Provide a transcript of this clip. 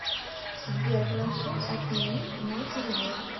сбер прошу отменить мой перевод